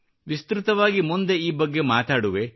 ವಿಸ್ತೃತವಾಗಿ ಮುಂದೆ ಈ ಬಗ್ಗೆ ಮಾತಾಡುವೆ